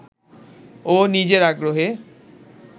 ও নিজের আগ্রহে